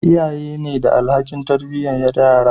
iyaye ne da alhakin tarbiyatar da yara